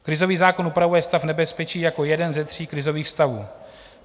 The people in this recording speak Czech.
Krizový zákon upravuje stav nebezpečí jako jeden ze tří krizových stavů.